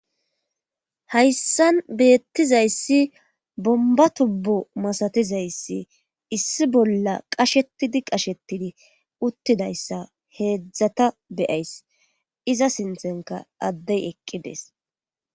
hayssan beettizayssi bomba tubbo masatizayssi issi bolla qashetidi qashetidi uttidayssa heedzdzata be'ays iza sinththenkka addey eqqides